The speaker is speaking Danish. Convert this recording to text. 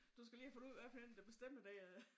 Du skal lige have fundet ud af hvad for en der bestemmer dér